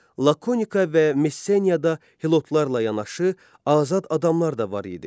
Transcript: Lakonika və Messeniyada helotlarla yanaşı azad adamlar da var idi.